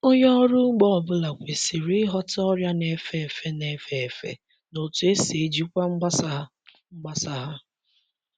Onye ọrụ ugbo ọ bụla kwesịrị ịghọta ọrịa na-efe efe na-efe efe na otu esi ejikwa mgbasa ha. mgbasa ha.